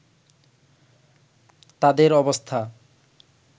তাঁদের অবস্থা